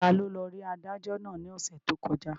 Taló lọ rí adájọ́ náà ní ọ̀sẹ̀ tó kọjá?